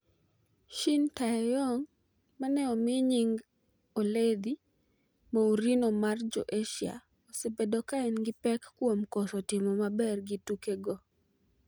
Shin Tae-yong mane omi nying oledhi 'Mourinho mar Jo Asia' osebedo ka en gi pek kuom koso timo maber gi tukego.